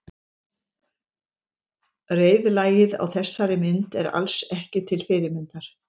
Reiðlagið á þessari mynd er alls ekki til fyrirmyndar.